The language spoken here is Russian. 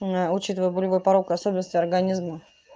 учитывая болевой порог особенности организма